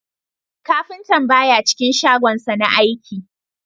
Kafintan baya cikin shagonsa na aiki